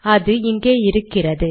அது இங்கே இருக்கிறது